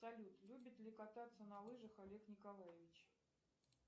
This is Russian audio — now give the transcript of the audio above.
салют любит ли кататься на лыжах олег николаевич